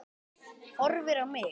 Horfir á mig.